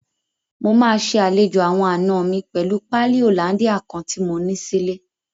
Mo máa ṣe àlejò àwọn àna mi pẹ̀lú páálí hollandia kan tí mo ní sílé.